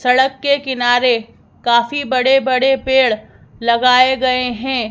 सड़क के किनारे काफी बड़े बड़े पेड़ लगाए गए हैं।